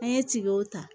An ye tigiw ta